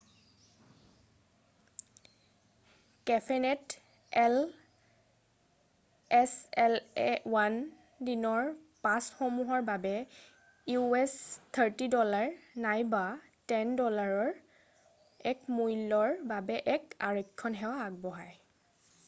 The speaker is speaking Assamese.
কেফেনেট এল ছলে 1-দিনৰ পাছসমূহৰ বাবে us$30 নাইবা $10 ৰ এক মূল্যৰ বাবে এক আৰক্ষণ সেৱা আগবঢ়াই৷